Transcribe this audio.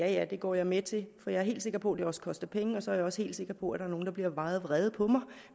at ja det går jeg med til for jeg er helt sikker på at det også koster penge og så er jeg også helt sikker på at der er nogle der bliver meget vrede på mig